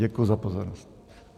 Děkuji za pozornost.